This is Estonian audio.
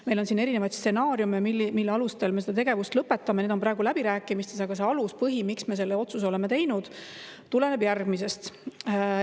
Meil on siin erinevaid stsenaariume, mille alusel me seda tegevust lõpetame, neid on praegu läbirääkimistes, aga see aluspõhi, miks me selle otsuse oleme teinud, tuleneb järgmisest.